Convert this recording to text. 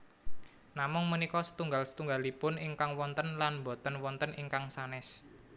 Namung punika setunggal setunggalipun ingkang wonten lan boten wonten ingkang sanès